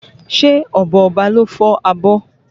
Ṣé ọ̀bọ Ọba ló fọ́ abọ́?